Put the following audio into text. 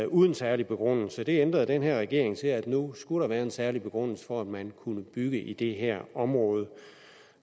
uden særlig begrundelse det ændrede den her regering til at nu skulle der være en særlig begrundelse for at man kunne bygge i det her område